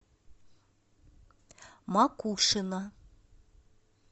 макушино